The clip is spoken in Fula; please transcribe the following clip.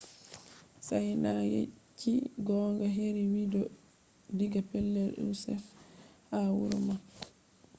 sinaida yecci gonga heri widiyo diga pellel usaf ha wuro mako